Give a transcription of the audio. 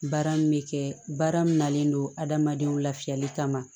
Baara min bɛ kɛ baara min nalen don adamadenw lafiyali kama